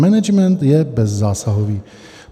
Management je bezzásahový.